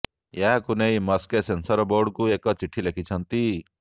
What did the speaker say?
ଏହାକୁ ନେଇ ମସ୍କେ ସେନସର ବୋର୍ଡକୁ ଏକ ଚିଠି ଲେଖିଛନ୍ତି